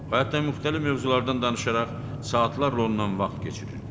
O hətta müxtəlif mövzulardan danışaraq saatlarla ondan vaxt keçirirdi.